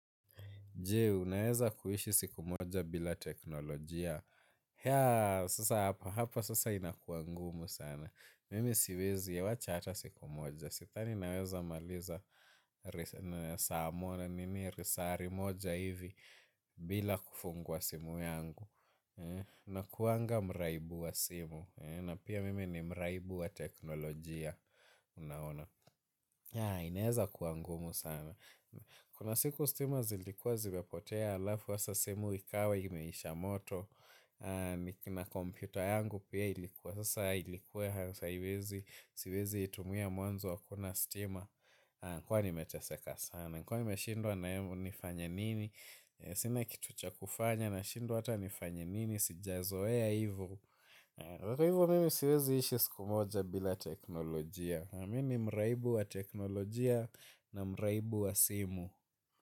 Jee, unaweza kuishi siku moja bila teknolojia. Ya, sasa hapa, hapo sasa inakuwangumu sana. Mimi siwezi, wacha ata siku moja. Sidhani naweza maliza saa moja, nini lisali moja hivi bila kufungua simu yangu. Nakuanga mraibu wa simu. Na pia mimi ni mraibu wa teknolojia, unaona. Ya, inaweza kuangumu sana. Kuna siku stima zilikuwa zimepotea alafu asa simu ikawa imeisha moto. Na computer yangu pia ilikuwa sasa ilikuwa hasa iwezi. Siwezi itumia mwanzo hakuna stima. Kuwa nimeteseka sana. Kuwa nimeshindwa na ni fanye nini. Sina kitu cha kufanya nashindwa hata ni fanye nini. Sijazoea hivo. Hivo mimi siwezi ishi siku moja bila teknolojia mimi ni mraibu wa teknolojia na mraibu wa simu.